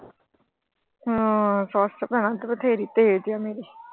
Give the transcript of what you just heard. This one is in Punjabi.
ਹਾਂ ਸੱਸ ਭੈਣਾਂ ਬਥੇਰੀ ਤੇਜ ਆ ਮੇਰੀ।